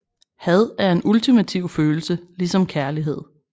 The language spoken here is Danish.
Had er en ultimativ følelse ligesom kærlighed